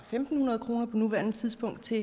fem hundrede kroner på nuværende tidspunkt til